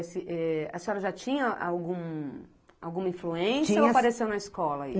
esse, eh... A senhora já tinha algum alguma influência, tinha, ou apareceu na escola?